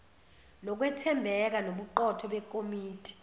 lokwethembeka nobuqotho bekomiti